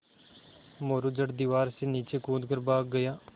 मोरू झट दीवार से नीचे कूद कर भाग गया